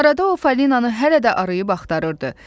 Arada o falinanı hələ də arayıb axtarırdı.